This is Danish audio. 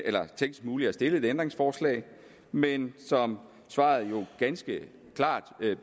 er teknisk muligt at stille et ændringsforslag men som svaret jo ganske klart